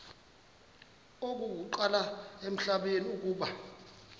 okokuqala emhlabeni uba